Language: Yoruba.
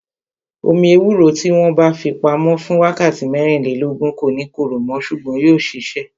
Omi ewúro tí wọn bá fi pamo fún wákàtí mẹ́rìnlélógún, kò ní korò mo ṣùgbọ́n yóò sisẹ